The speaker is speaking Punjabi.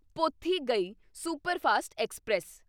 Pothigai superfast express